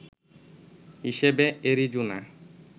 হিসেবে অ্যারিজোনা